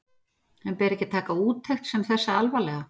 En ber ekki að taka úttekt sem þessa alvarlega?